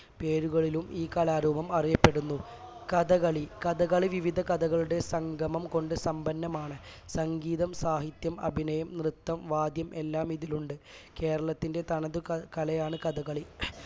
പേരുകളിലും ഈ കലാരൂപം അറിയപ്പെടുന്നു കഥകളി കഥകളി വിവിധ കലകളുടെ സംഗമം കൊണ്ട് സമ്പന്നമാണ് സംഗീതം സാഹിത്യം അഭിനയം നൃത്തം വാദ്യം എല്ലാം ഇതിലുണ്ട് കേരളത്തിന്റെ തനതു കലയാണ് കഥകളി